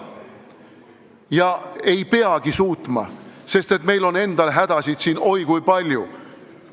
Ja ei peagi suutma, sest meil on endal siin oi kui palju hädasid.